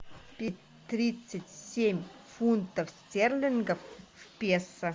тридцать семь фунтов стерлингов в песо